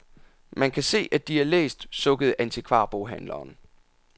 Man kan se, at de er læst, sukkede antikvarboghandleren.